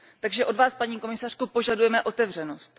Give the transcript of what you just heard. Takže od Vás, paní komisařko, požadujeme otevřenost.